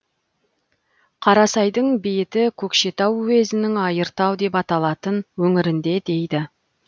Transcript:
қарасайдың бейіті көкшетау уезінің айыртау деп аталатын өңірінде дейді